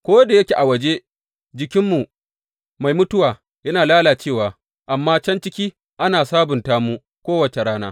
Ko da yake a waje, jikinmu mai mutuwa yana lalacewa, amma can ciki, ana sabunta mu kowace rana.